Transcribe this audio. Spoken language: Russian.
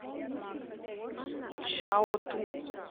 чжаотун